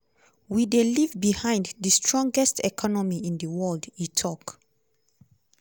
"we dey leave behind di strongest economy in di world" e tok.